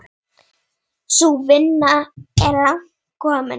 Sú vinna er langt komin.